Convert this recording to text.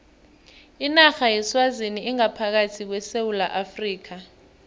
inarha yeswazini ingaphakathi kwesewula afrika